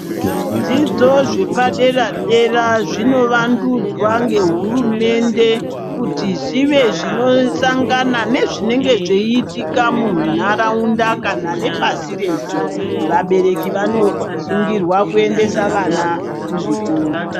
Zvidzidzo zvepadera dera zvinovandudzwa ngehurumende kuti zvive zvinosangana nezvinenge zveyiitika munharaunda kana nepasi rese. Vabereki vanosungirwa kuendesa vana kuzvikora.